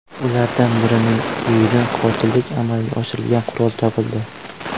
Ulardan birining uyidan qotillik amalga oshirilgan qurol topildi.